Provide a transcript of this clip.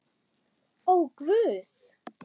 Ó, Guð!